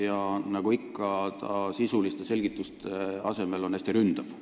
Ja nagu ikka, on ta sisuliste selgituste asemel hästi ründav.